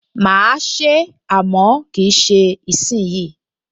Mà á se é, àmọ́ kì í ṣe ìsìnyí